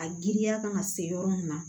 A giriya kan ka se yɔrɔ min na